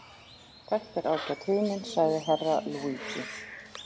Þetta er ágæt hugmynd, sagði Herra Luigi.